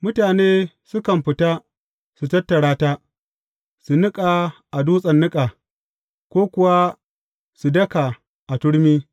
Mutane sukan fita su tattara ta, su niƙa a dutsen niƙa, ko kuwa su daka a turmi.